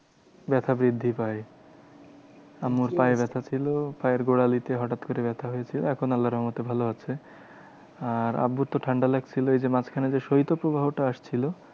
ব্যাথা বৃদ্ধি পায়। আম্মুর পায়ে ব্যাথা ছিল পায়ের গোড়ালিতে হটাৎ করে ব্যাথা হয়েছে। এখন আল্লার রহমতে ভালো আছে। আর আব্বুর তো ঠান্ডা লাগছিলো। এই যে মাঝখানে যে শৈত প্রবাহটা আসছিলো